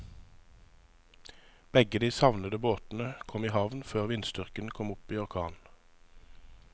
Begge de savnede båtene kom i havn før vindstyrken kom opp i orkan.